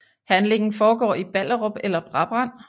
Handlingen foregår i Ballerup eller Brabrand